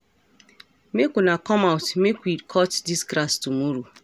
Make una come out make we cut dis grass tomorrow